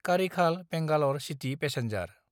कारिखाल–बेंगालर city passenger